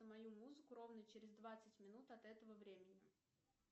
мою музыку ровно через двадцать минут от этого времени